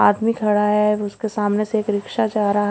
आदमी खड़ा है और उसके सामने से एक रिक्शा जा रहा--